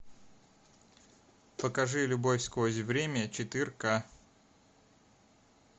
покажи любовь сквозь время четыре ка